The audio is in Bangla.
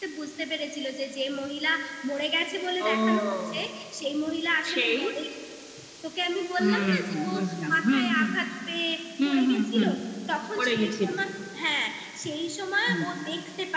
বুঝতে পেরেছিলো যে যে মহিলা মরে গেছে বলে ও দেখানো হচ্ছে সেই মহিলা আসলে মরেনি তোকে আমি তোকে আমি বললাম না যে ওর মাথায় আঘাত পেয়ে হুম হুম লেগেছিলো তখন হ্যাঁ এই সময় ও দেখতে